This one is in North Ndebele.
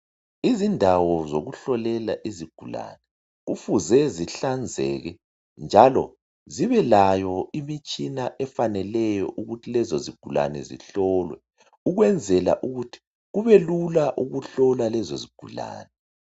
Izindawo zokuhlolela izigulane ufuze zihlanzeke njalo zibelayo imitshina efaneleyo ukuthi lezo zigulane zihlolwe ukwenzela ukuthi kubelula ukuhlola lezo zigulane